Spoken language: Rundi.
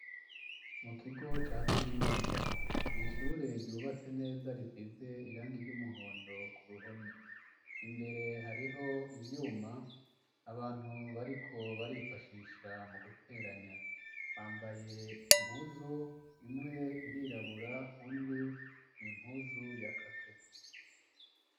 Mu kigo ca kaminuza nishure ryubatse neza risize irangi ryumuhondo ku ruhome imbere hariho ivyuma abantu bariko barifashisha mu guteranya bambaye impuzu imwe irirabura undi n'impuzu ya kake.